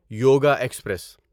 yoga express